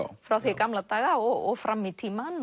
frá því í gamla daga og fram í tímann